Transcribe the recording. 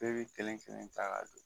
Bɛɛ bɛ kelen kelen ta ka don